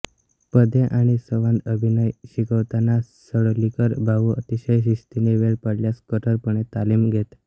पदे आणि संवादअभिनय शिकवताना सडोलीकर भाऊ अतिशय शिस्तीने वेळ पडल्यास कठोरपणे तालमी घेत